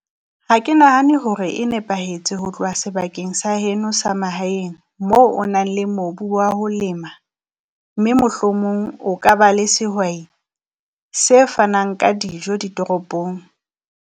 Ha ke nahane hore e nepahetse ho tloha sebakeng sa heno sa mahaeng moo o nang le mobu wa ho lema, mme mohlomong o ka ba le sehwai se fanang ka dijo ditoropong.